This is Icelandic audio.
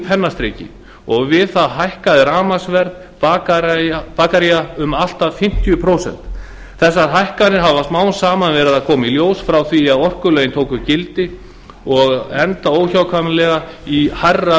pennastriki og við það hækkaði rafmagnsverð bakaría um allt að fimmtíu prósent þessar hækkanir hafa smám saman verið að koma í ljós frá því að orkulögin tóku gildi og enda óhjákvæmilega í hærra